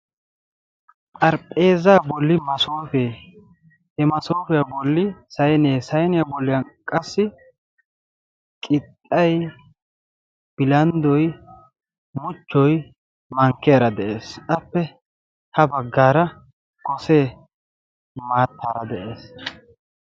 xarphpheeza bolli masoofee he masofiyaa bolli saynee sayniyaa bollan qassi qixxay bilanddoy muchchoy mankkiyaara de'ees. appe ha baggaara gosee maattaara de'ees.